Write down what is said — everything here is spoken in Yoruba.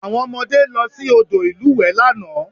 Àwọn ọmọdé lọ sí odò ìlúwẹ̀ẹ́ lánàá